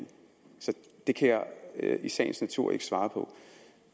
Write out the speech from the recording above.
så det kan jeg i sagens natur ikke svare på